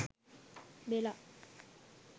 bella